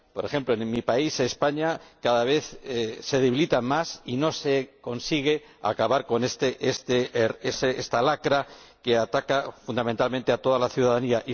Por ejemplo, en mi país, España, cada vez se debilitan más y no se consigue acabar con esta lacra que ataca, fundamentalmente, a toda la ciudadanía.